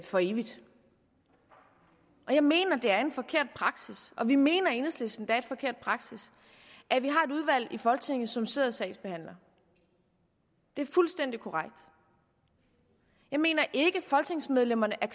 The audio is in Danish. for evigt og jeg mener det er en forkert praksis og vi mener i enhedslisten det er en forkert praksis at vi har et udvalg i folketinget som sidder og sagsbehandler det er fuldstændig korrekt jeg mener ikke folketingsmedlemmerne